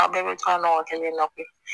Aw bɛɛ bɛ to ka ɲɔgɔn kelen na kuwa